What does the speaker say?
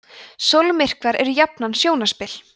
sólmyrkvar eru jafnan sjónarspil